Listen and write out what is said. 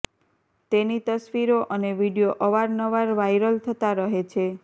તેની તસવીરો અને વીડિયો અવારનાવર વાયરલ થતાં રહે છે